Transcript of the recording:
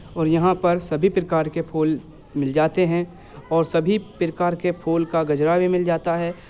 और यहाँ पर सभी प्रकार के फुल मिल जाते है और सभी प्रकार के फुल का गजरा भी मिल जाता है।